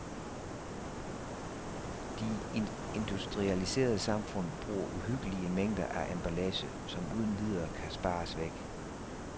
De industrialiserede samfund bruger uhyggelige mængder af emballage, som uden videre kan spares væk.